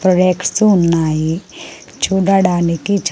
Products ఉన్నాయి. చూడడానికి చా --